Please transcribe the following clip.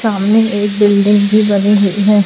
सामने एक बिल्डिंग भी बनी हुई है।